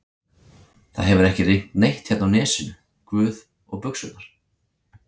það hefur ekki rignt neitt hérna á Nesinu, guð, og buxurnar.